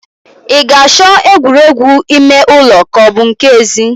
I ga-achọ egwuregwu ime ụlọ ka ọ bu nke ezi?